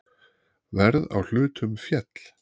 Verð á hlutum féll.